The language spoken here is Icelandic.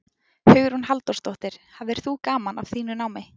Hugrún Halldórsdóttir: Hafðir þú gaman af þínu námi?